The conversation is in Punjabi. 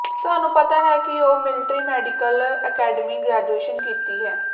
ਸਾਨੂੰ ਪਤਾ ਹੈ ਕਿ ਉਹ ਮਿਲਟਰੀ ਮੈਡੀਕਲ ਅਕੈਡਮੀ ਗ੍ਰੈਜੂਏਸ਼ਨ ਕੀਤੀ ਹੈ